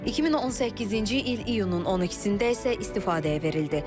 2018-ci il iyunun 12-də isə istifadəyə verildi.